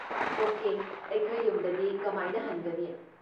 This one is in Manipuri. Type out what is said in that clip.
ꯑꯣꯀꯦ, ꯑꯩꯈꯣꯏ ꯌꯨꯝꯗꯗꯤ ꯀꯃꯥꯏꯅ ꯍꯟꯒꯅꯤ?